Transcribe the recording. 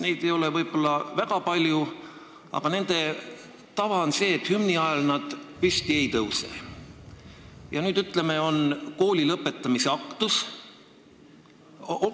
Neid ei ole väga palju olnud, aga nende tava on selline, et nad hümni ajal püsti ei tõuse.